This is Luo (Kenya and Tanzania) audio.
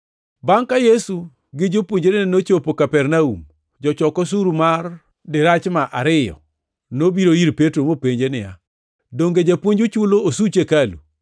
Bangʼ ka Yesu gi jopuonjrene nochopo Kapernaum, jochok osuru mar dirachma ariyo ariyo nobiro ir Petro mopenjo niya, “Donge Japuonju chulo osuch hekalu?”